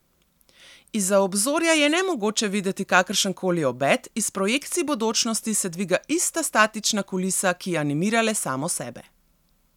Izza obzorja je nemogoče videti kakršen koli obet, iz projekcij bodočnosti se dviga ista statična kulisa, ki animira le samo sebe.